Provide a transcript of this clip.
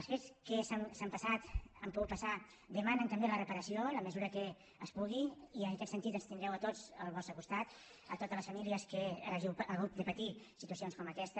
els fets que han passat han pogut passar demanen també la reparació en la mesura que es pugui i en aquest sentit ens tindreu a tots al vostre costat totes les famílies que hàgiu hagut de patir situacions com aquesta